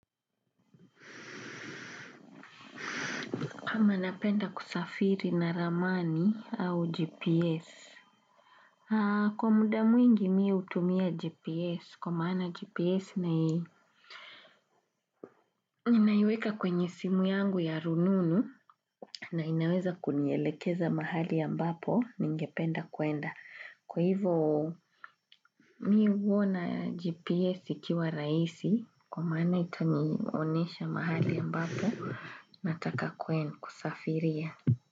Kama napenda kusafiri na ramani au GPS? Kwa muda mwingi mii utumia GPS, kwa maana GPS na iweka kwenye simu yangu ya rununu na inaweza kunielekeza mahali ambapo ningependa kuenda. Kwa hivo mii uona GPS ikiwa raisi, kwa maana itanionesha mahali ambapo, nataka kwenda kusafiria.